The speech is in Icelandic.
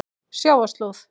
Sjávarslóð